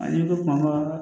Ani bɛ kuma